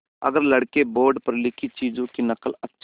अगर लड़के बोर्ड पर लिखी चीज़ों की नकल अच्छे से